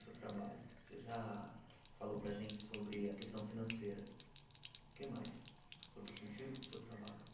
Seu trabalho, você já falou para a gente sobre a questão financeira, o que mais, sobre o sentido do seu trabalho